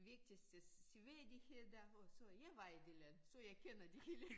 Vigtigste seværdigheder og så jeg var i det land så jeg kender det hele